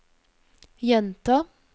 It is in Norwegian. gjenta